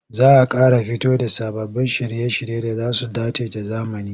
Za a ƙara fito da sababbin shirye-shirye da za su dace da zamani.